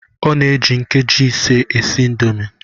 O ji nkeji ise esi indomi